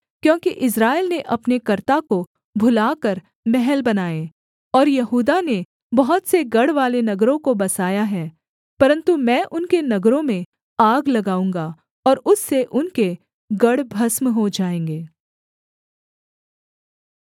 क्योंकि इस्राएल ने अपने कर्ता को भुला कर महल बनाए और यहूदा ने बहुत से गढ़वाले नगरों को बसाया है परन्तु मैं उनके नगरों में आग लगाऊँगा और उससे उनके गढ़ भस्म हो जाएँगे